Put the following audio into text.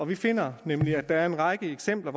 vi finder nemlig at der er en række eksempler